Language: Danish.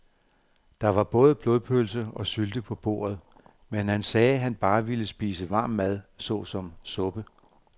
Der var både blodpølse og sylte på bordet, men han sagde, at han bare ville spise varm mad såsom suppe.